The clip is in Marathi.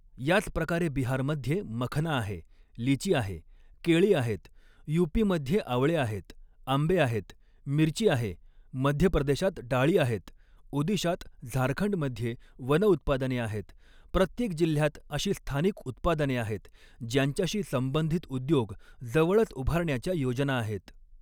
याच प्रकारे बिहारमध्ये मखना आहे, लीची आहे, केळी आहेत, यूपीमध्ये आवळे आहेत, आंबे आहेत, मिरची आहे, मध्य प्रदेशात डाळी आहेत, ओदिशात झारखंडमध्ये वनउत्पादने आहेत, प्रत्येक जिल्ह्यात अशी स्थानिक उत्पादने आहेत, ज्यांच्याशी संबंधित उद्योग जवळच उभारण्याच्या योजना आहेत.